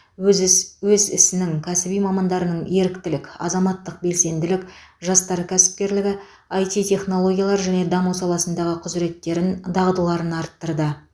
өз іс өз ісінің кәсіби мамандарының еріктілік азаматтық белсенділік жастар кәсіпкерлігі іт технологиялар жеке даму саласындағы құзіреттерін дағдыларын арттырды